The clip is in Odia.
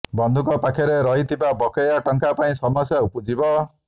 ବନ୍ଧୁଙ୍କ ପାଖରେ ରହିଥିବା ବକେୟା ଟଙ୍କା ପାଇଁ ସମସ୍ୟା ଉପୁଜିବ